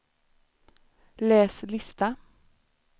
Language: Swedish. läs lista